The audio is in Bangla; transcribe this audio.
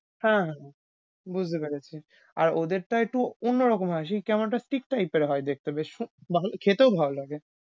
হ্যাঁ। বুঝতে পেরেছি আর ওদের টা একটু অন্যরকম হয় সে কেমন একটা chick type এর হয় দেখতে বেশ ভাল~খেতেও ভাল লাগে।